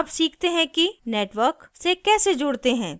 अब सीखते हैं कि network से कैसे जुड़ते हैं